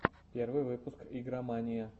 первый выпуск игромания